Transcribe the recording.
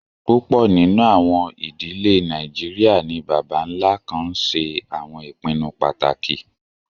Púpọ nínu àwọn idílẹ̀ Nàìjíríà ni bàbá-nlá kàn nṣẹ àwọn ìpìnnú pátákì.